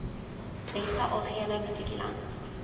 beste algehele matrikulant